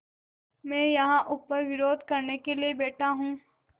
मैं यहाँ ऊपर विरोध करने के लिए बैठा हूँ